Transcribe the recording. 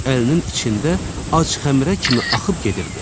Qız əlinin içində ac xəmirə kimi axıb gedirdi.